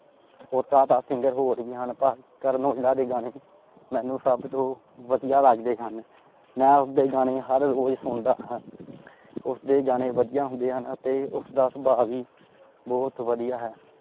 ਓਦਾਂ ਤਾ singer ਹੋਰ ਭੀ ਹਨ ਪਰ ਕਰਨ ਔਜਲਾ ਦੇ ਗਾਣੇ ਮੈਨੂੰ ਸਬ ਤੋਂ ਵਧੀਆ ਲੱਗਦੇ ਹਨ। ਮੈਂ ਉਸਦੇ ਗਾਣੇ ਹਰ ਰੋਜ ਸੁਣਦਾ ਹਾਂ। ਉਸਦੇ ਗਾਣੇ ਵਧੀਆ ਹੁੰਦੇ ਹਨ ਅਤੇ ਉਸਦਾ ਸੁਬਾਹ ਵੀ ਬਹੁਤ ਵਧੀਆ ਹੈ।